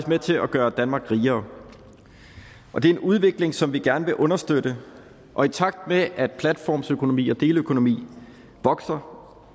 med til at gøre danmark rigere det er en udvikling som vi gerne vil understøtte og i takt med at platformsøkonomi og deleøkonomi vokser